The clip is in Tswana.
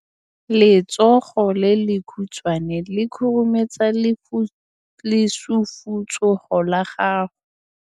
Letsogo le lekhutshwane le khurumetsa lesufutsogo la gago.